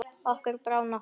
Okkur brá nokkuð.